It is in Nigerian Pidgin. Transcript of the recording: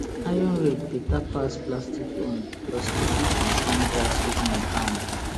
iron rake beta pass plastic own becos e fit withstand dry season ground